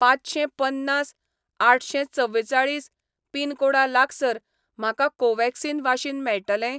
पांचशेंपन्नास आठशेंचवेचाळीस पिनकोडा लागसार म्हाका कोव्हॅक्सिन वाशीन मेळटलें?